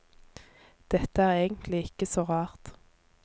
Dette er egentlig ikke så rart.